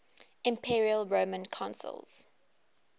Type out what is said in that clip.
imperial roman consuls